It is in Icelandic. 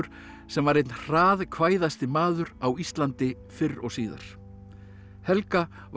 sem var einn maður á Íslandi fyrr og síðar helga var